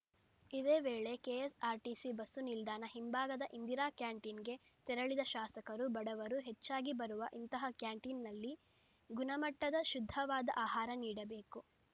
ಇದೇ ವೇಳೆ KSRTC bus ನಿಲ್ದಾಣ ಹಿಂಭಾಗದ ಇಂದಿರಾ ಕ್ಯಾಂಟೀನ್‌ಗೆ ತೆರಳಿದ ಶಾಸಕರು ಬಡವರು ಹೆಚ್ಚಾಗಿ ಬರುವ ಇಂತಹ ಕ್ಯಾಂಟೀನ್‌ನಲ್ಲಿ ಗುಣಮಟ್ಟದ ಶುದ್ಧವಾದ ಆಹಾರ ನೀಡಬೇಕು